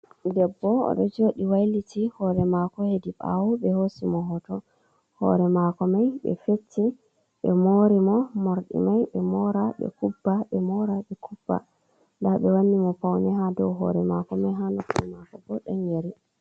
Debbo odo jodi wailiti hore mako hedi ɓawo be hosi mo hoto ,hore mako mai be feti be mori mo mordi mai be mora be kubba be mora be kubba da be wani mo paune ha dow hore mako mai hanopi mako bo ɗon yeri.